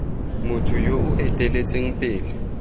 motho yo o eteletseng pele